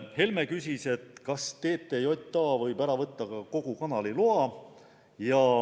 Helme küsis, kas TTJA võib ära võtta ka kogu kanali loa.